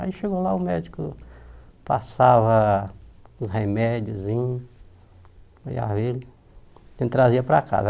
Aí chegou lá o médico, passava os remédiozinhos para ele, ele trazia para casa.